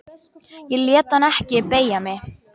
Ég lét hann ekki beygja mig.